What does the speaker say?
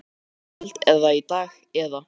Fréttamaður: Í kvöld eða í dag eða?